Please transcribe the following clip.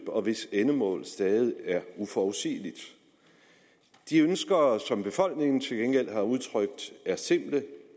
og hvis endemål stadig er uforudsigeligt de ønsker som befolkningerne til gengæld har udtrykt er simple